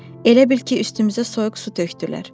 Elə bil ki, üstümüzə soyuq su tökdülər.